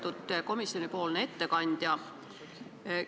Lugupeetud komisjoni ettekandja!